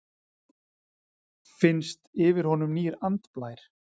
Finnst yfir honum nýr andblær.